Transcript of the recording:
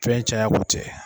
Fɛn cayako tɛ